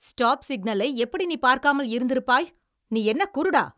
Stop சிக்னலை எப்படி நீ பார்க்காமல் இருந்திருப்பாய்? நீ என்ன குருடா?